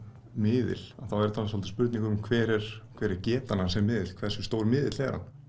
miðil þá er þetta spurning um hver er hver er getan hans sem miðils hversu stór miðill er hann